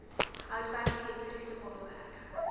houtwerk elektriese baanwerk